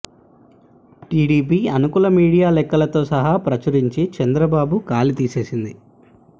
TDP అనుకూల media లెక్కలతో సహా ప్రచురించి చంద్రబాబు గాలి తీసేసింది